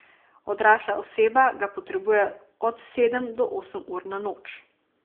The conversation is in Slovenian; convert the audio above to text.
Odrasla oseba ga potrebuje od sedem do osem ur na noč.